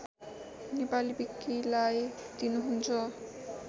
नेपाली विकिलाई दिनुहुन्छ